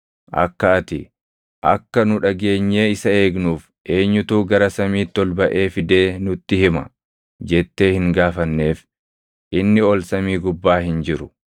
Akka ati, “Akka nu dhageenyee isa eegnuuf eenyutu gara samiitti ol baʼee fidee nutti hima?” jettee hin gaafanneef inni ol samii gubbaa hin jiru.